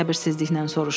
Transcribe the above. Emil səbirsizliklə soruşdu.